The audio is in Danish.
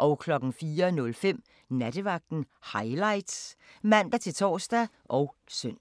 04:05: Nattevagten Highlights (man-tor og søn)